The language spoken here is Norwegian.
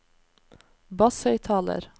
basshøyttaler